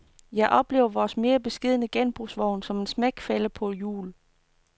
Jeg oplever vores mere beskedne genbrugsvogn som en smækfælde på hjul.